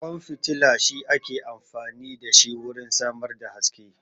Ƙwan fitila shi ake amfani da shi wurin samar da haske